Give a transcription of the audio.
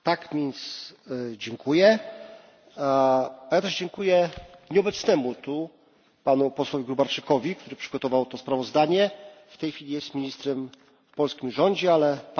Dziękuję także nieobecnemu tu panu posłowi Gróbarczykowi, który przygotował to sprawozdanie. W tej chwili jest ministrem w polskim rządzie, ale pamiętamy o jego pracy.